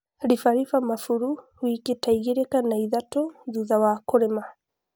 Ribariba mabũrũ wiki ta igĩli kana ithatũ thutha wa kũlima